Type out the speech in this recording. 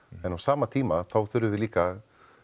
en á sama tíma þá þurfum við líka